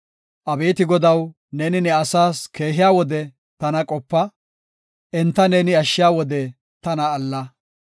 Abeeti Godaw, neeni ne asaas keehiya wode tana qopa; enta neeni ashshiya wode tana alla.